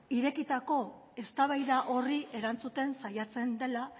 irekitako eztabaida horri erantzuten saiatzen dela